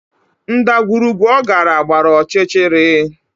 Ndagwurugwu ọ gara gbara ọchịchịrị